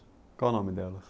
Qual o nome delas?